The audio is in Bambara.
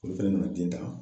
Olu fɛnɛ nana den ta.